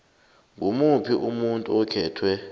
ngimuphi umuntu okhethwe